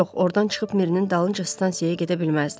Yox, ordan çıxıb Mirinin dalınca stansiyaya gedə bilməzdi.